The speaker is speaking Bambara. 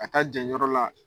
ka taa jɛn yɔrɔ la.